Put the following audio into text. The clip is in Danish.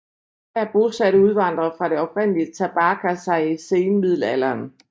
Her bosatte udvandrere fra det oprindelige Tabarka sig i senmiddelalderen